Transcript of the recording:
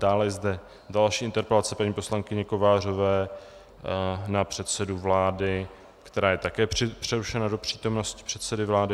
Dále je zde další interpelace paní poslankyně Kovářové na předsedu vlády, která je také přerušena do přítomnosti předsedy vlády.